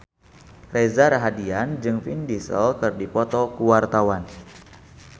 Reza Rahardian jeung Vin Diesel keur dipoto ku wartawan